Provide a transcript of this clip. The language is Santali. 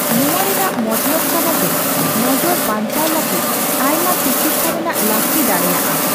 ᱱᱚᱣᱟ ᱨᱮᱱᱟᱜ ᱢᱚᱛᱞᱚᱵ ᱠᱟᱱᱟ ᱡᱮ ᱱᱚᱡᱚᱨ ᱵᱟᱝᱪᱟᱣ ᱞᱟᱹᱜᱤᱫ ᱟᱭᱢᱟ ᱛᱤᱠᱤᱪᱪᱷᱟ ᱨᱮᱱᱟᱜ ᱞᱟᱹᱠᱛᱤ ᱫᱟᱲᱮᱭᱟᱜᱼᱟ ᱾